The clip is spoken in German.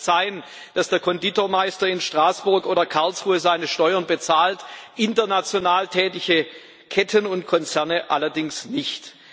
Es kann nicht sein, dass der Konditormeister in Straßburg oder Karlsruhe seine Steuern bezahlt, international tätige Ketten und Konzerne allerdings nicht.